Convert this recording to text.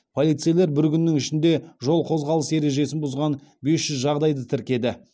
полицейлер бір күннің ішінде жол қозғалысы ережесін бұзған бес жүз жағдайды тіркеді